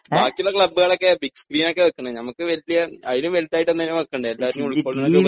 ബാക്കിയുള്ള ക്ലബുകളൊക്കെ big screen ആണ് വെക്കുന്നേ നമുക്ക് വലിയ അതിലും വലുതായിട്ട് തന്നെയാ വെക്കണ്ടേ എല്ലാരും കൂടെ ഉൾക്കൊള്ളുന്ന രൂപത്തിൽ